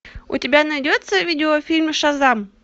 у тебя найдется видеофильм шазам